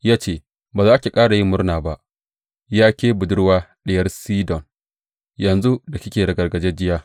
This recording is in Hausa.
Ya ce, Ba za ki ƙara yin murna ba, Ya ke Budurwa Diyar Sidon, yanzu da kike ragargajiya!